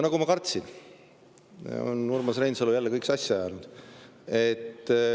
Nagu ma kartsin, on Urmas Reinsalu jälle kõik sassi ajanud.